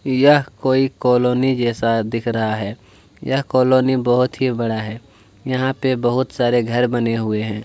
यह कोई कोलोनी जैसा दिख रहा है यह कोलोनी बहुत ही बड़ा है यहाँ पे बहुत सारे घर बने हुए है।